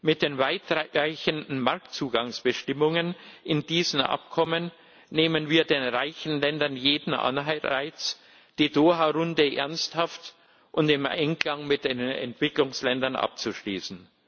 Mit den weitreichenden Marktzugangsbestimmungen in diesen Abkommen nehmen wir den reichen Ländern jeden Anreiz, die Doha Runde ernsthaft und im Einklang mit den Entwicklungsländern abzuschließen.